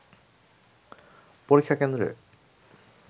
পরীক্ষা কেন্দ্রে